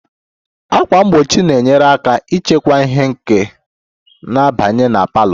Ákwà mgbochi na-enyere aka ịchịkwa ìhè nke na-abanye na parlour